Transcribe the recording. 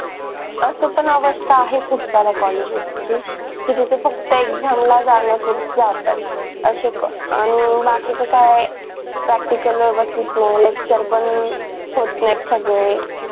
असं पण अवस्था आहे खूप सार्‍या कॉलेजेसची कि जिथं फक्त exam ला जाण्या पुरत जातात असे आणि बाकीच काय practical व्यवस्थित नाय lecture पण होत नाही सगळे